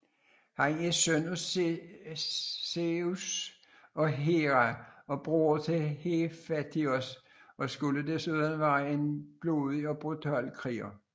Han er søn af Zeus og Hera og broder til Hefaistos og skulle desuden være en blodig og brutal kriger